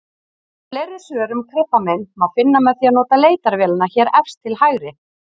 Fleiri svör um krabbamein má finna með því að nota leitarvélina hér efst til hægri.